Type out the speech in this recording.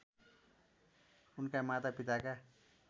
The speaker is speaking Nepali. उनका माता पिताका